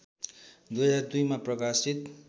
२०२ मा प्रकाशित